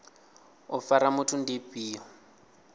u fara muthu ndi ifhio